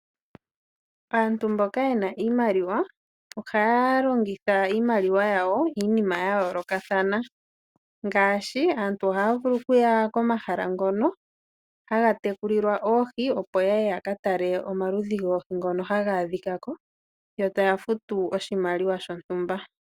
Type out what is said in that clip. Aantu mboka ye na iimaliwa ohaya lonhitha iimaliwa yawo iinima yayoolokathana ngaashi aantu ohaya vulu okuya komahala ngono haga tekulilwa oohi opo yaye yakatele shono hashi adhika ko yo taya futu oshimaliwa shontumba.